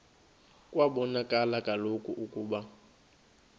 kwabonakala kaloku ukuba